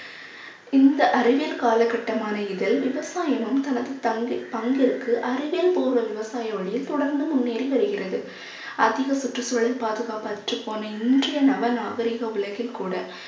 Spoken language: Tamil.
இந்த அறிவியல் காலகட்டமான இதில் விவசாயமும் தனது தங்கை~ பங்கிற்கு அறிவியல் பூர்வ விவசாயி வழியில் தொடர்ந்து முன்னேறி வருகிறது. அதிக சுற்றுச்சூழல் பாதுகாப்பு அற்றுப்போன இன்றைய நவ நாகரிக உலகில் கூட